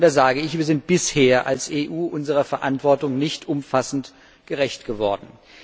Da sage ich Wir sind bisher als EU unserer Verantwortung nicht umfassend gerecht geworden.